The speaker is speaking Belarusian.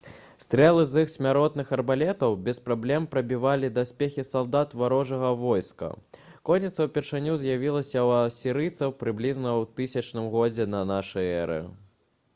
стрэлы з іх смяротных арбалетаў без праблем прабівалі даспехі салдат варожага войска конніца ўпершыню з'явілася ў асірыйцаў прыблізна ў 1000 годзе да нашай эры